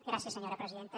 gràcies senyora presidenta